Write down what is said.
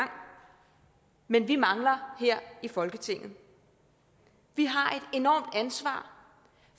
men vi mangler her i folketinget vi har et enormt ansvar